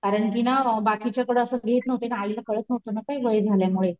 कारण कि ना बाकीच्या कड असं घेत नहुते ना आई ला कळत नहूतं ना काही वय झाल्यामुळे.